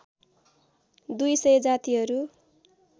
दुई सय जातिहरू